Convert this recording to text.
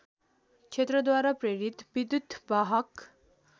क्षेत्रद्वारा प्रेरित विद्युत्‌वाहक